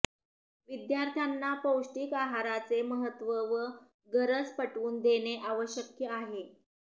विद्यार्थ्यांना पौष्टीक आहाराचे महत्व व गरज पटवून देणे आवश्यक आहे